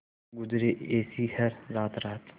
गुजरे ऐसी हर रात रात